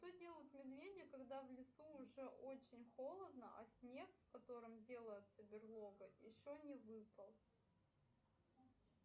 что делают медведи когда в лесу уже очень холодно а снег в котором делается берлога еще не выпал